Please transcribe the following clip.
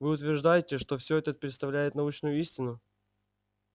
вы утверждаете что все это представляет научную истину